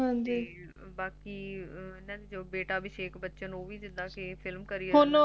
ਬਾਕੀ ਓਹਨਾ ਦਾ ਬੇਟਾ ਏ ਜੌ Abhishekh Bachhan ਓਹ ਵੀ ਜਿੱਦਾ ਕਿ f Film Career